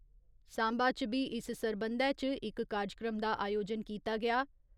सांबा इच बी इस्स सरबंधै इच इक कारजक्रम दा आयोजन कीता गेआ